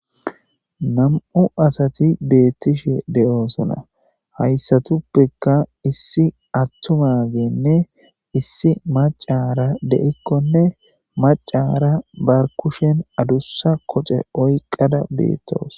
nam7u asati beettishe de7oosona hayssatuppekka issi attumagenne issi macara de7ikkonne macara ba kushen adussa koce oyqada beettoos